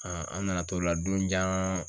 an nana t'o la donjan